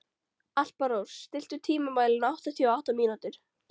Alparós, stilltu tímamælinn á áttatíu og átta mínútur.